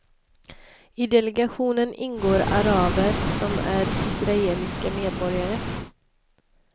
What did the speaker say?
I delegationen ingår araber som är israeliska medborgare.